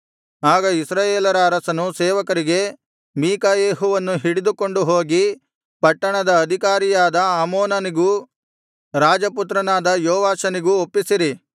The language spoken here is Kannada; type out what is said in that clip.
ಆಗ ಇಸ್ರಾಯೇಲರ ಅರಸನು ಸೇವಕರಿಗೆ ಮೀಕಾಯೆಹುವನ್ನು ಹಿಡಿದುಕೊಂಡು ಹೋಗಿ ಪಟ್ಟಣದ ಅಧಿಕಾರಿಯಾದ ಆಮೋನನಿಗೂ ರಾಜಪುತ್ರನಾದ ಯೋವಾಷನಿಗೂ ಒಪ್ಪಿಸಿರಿ